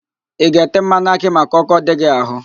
ị ga-ete mmanụ akị maka ọ́kọ́ dị gị ahụ?